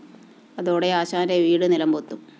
അതോടെ ആശാന്റെ വീട് നിലം പൊത്തും